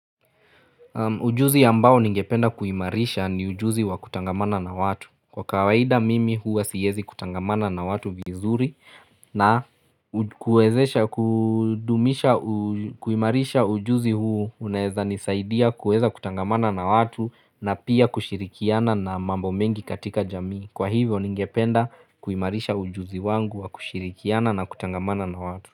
Ujuzi ambao ningependa kuimarisha ni ujuzi wa kutangamana na watu. Kwa kawaida mimi huwa siyezi kutangamana na watu vizuri na kuimarisha ujuzi huu uneza nisaidia kuweza kutangamana na watu na pia kushirikiana na mambo mengi katika jamii. Kwa hivyo ningependa kuimarisha ujuzi wangu wa kushirikiana na kutangamana na watu.